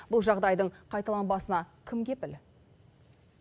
бұл жағдайдың қайталанбасына кім кепіл